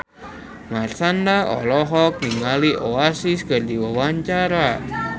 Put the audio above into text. Marshanda olohok ningali Oasis keur diwawancara